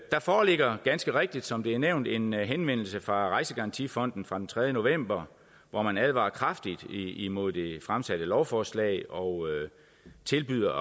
der foreligger ganske rigtigt som det er nævnt en henvendelse fra rejsegarantifonden fra den tredje november hvor man advarer kraftigt imod det fremsatte lovforslag og tilbyder